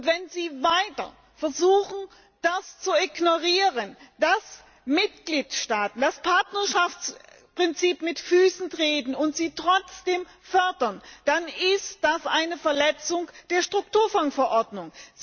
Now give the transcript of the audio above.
Wenn Sie weiter versuchen, zu ignorieren, dass Mitgliedstaaten das Partnerschaftsprinzip mit Füßen treten, und sie trotzdem fördern, dann ist das eine Verletzung der Strukturfondsverordnung!